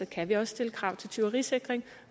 kan vi også stille krav til tyverisikring